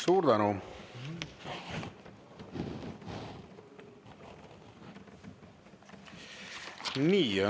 Suur tänu!